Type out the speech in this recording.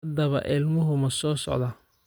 Haddaba, ilmuhu ma soo socdaa?